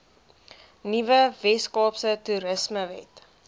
nuwe weskaapse toerismewet